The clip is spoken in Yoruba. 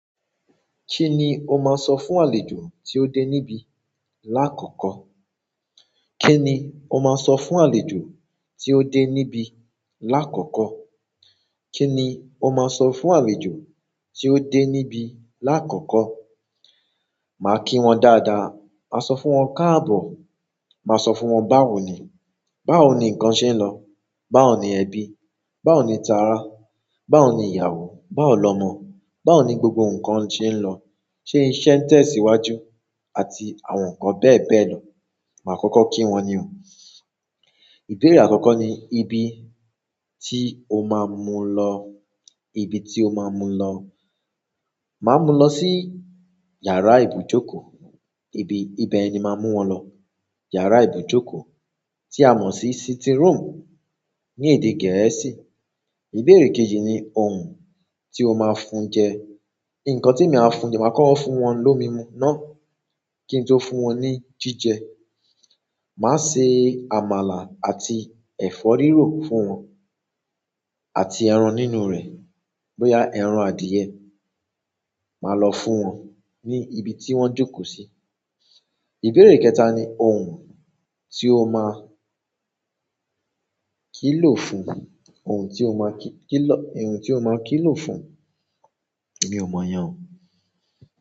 Kí ni o máa sọ fún àlejò tí ó dé níbí láàkókò? Kí ni o máa sọ fún àlejò tí ó dé níbí láàkókò? Kí ni o máa sọ fún àlejò tí ó dé níbí láàkókò? Màá kí wọn dáadáa, màá sọ fún wọn káàbọ̀, màá sọ fún wọn báwo ni, báwo ni nǹkan ṣe ń lọ, báwo ni ẹbí, báwo ni tara, báwo ni ìyàwó, báwo lọmọ, báwo ni gbogbo nǹkan ṣe ń lọ, ṣé iṣẹ́ ń tẹ̀ sí iwájú àti àwọn nǹkan bẹ́ẹ̀ bẹ́ẹ̀ lọ. Màá kọ́kọ́ kí wọn ní o. Ìbéèrè àkọ́kọ́ ni ibi tí o máa mú lọ, ibi tí o máa mú lọ. Màá mú lọ sí yàrá ìbùjókòó. Ibi, ibẹ̀ ni màá mú wọn lọ. Yàrá ìbùjókòó tí a mọ̀ sí sitting room ní èdè Gẹ̀ẹ́sì. Ìbéèrè kejì ni ohun tí o máa fún jẹ. Ǹkan tí mi máa fún, máa kọ́kọ́ fún wọn lómi mu náà kí n tó fún wọn ní jíjẹ. Màá se àmàlà àti ẹ̀fọ́ rírò fún wọn àti ẹran nínú rẹ̀. Bóyá ẹran àdìẹ̀, màá lọ fún wọn ní ibi tí wọ́n jókòó sí. Ìbéèrè kẹta ni ohun tí o máa kílò fún, ohun tí o máa kí, kí lọ, ohun tí o máa kílò fún. Èmi ò mọ̀ yẹn o.